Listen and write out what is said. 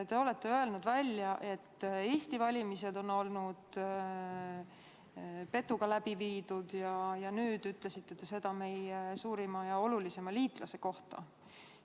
Te olete öelnud, et Eesti valimised on olnud petuga läbi viidud, ja nüüd ütlesite seda meie suurima ja olulisima liitlase kohta.